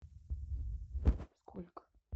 сколько